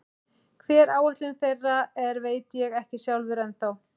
Hver áætlun þeirra er veit ég ekki sjálfur ennþá.